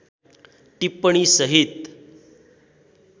टिप्पणी सहित